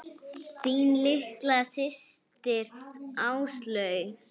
Þín litla systir, Áslaug.